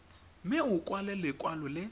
mme o kwale lekwalo le